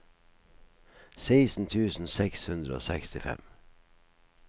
seksten tusen seks hundre og sekstifem